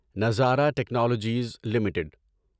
نظارہ technologies limited